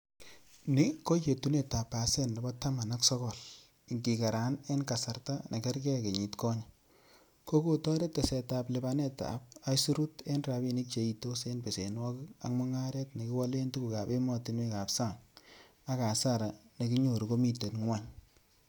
Niko yetunet ab pasen nebo taman ak sogol, ikigeran en kasarta nekergei kenyit konye, ko kotoret tesetab lipanetab aisurut en rabinik cheitos en besenwogik ak mungaret nekiwale tuguk ab emotinwek ab sang, ak hasara nekinyoru komiten gwony.